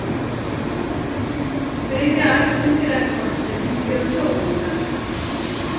Þriðja ætt undirættbálksins eru flóðhestar.